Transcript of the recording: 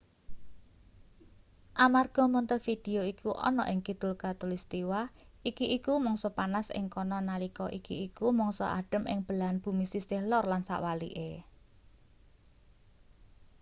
amarga montevideo iku ana ing kidul khatulistiwa iki iku mangsa panas ing kana nalika iki iku mangsa adhem ing belahan bumi sisih lor lan sewalike